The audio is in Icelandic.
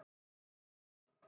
Í Lima